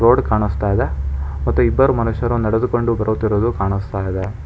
Board ಕಾಣುಸ್ತಾ ಇದೆ ಮತ್ತು ಇಬ್ಬರ್ ಮನುಷ್ಯರು ನೆಡೆದುಕೊಂಡು ಬರುತ್ತಿರುವುದು ಕಾಣುಸ್ತಾ ಇದೆ.